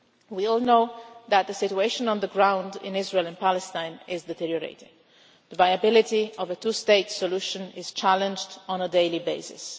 We all know that the situation on the ground in Israel and Palestine is deteriorating. The viability of a two state solution is challenged on a daily basis.